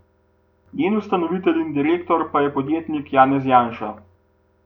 Njen ustanovitelj in direktor pa je podjetnik Janez Janša.